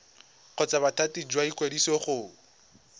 kgotsa bothati jwa ikwadiso go